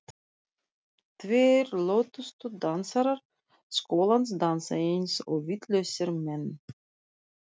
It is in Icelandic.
Tveir lötustu dansarar skólans dansa eins og vitlausir menn.